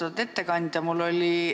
Austatud ettekandja!